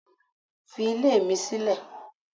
Fi ilé mi sílẹ̀.